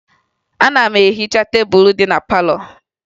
Ana m ehicha tebulu dị na palọ